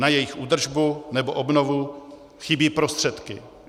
Na jejich údržbu nebo obnovu chybí prostředky.